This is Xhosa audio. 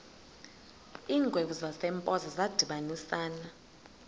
iingwevu zasempoza zadibanisana